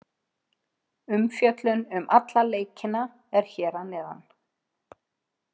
Umfjöllun um alla leikina er hér að neðan.